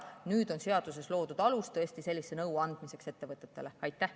Nüüd on seaduses loodud alus sellise nõu ettevõtetele andmiseks.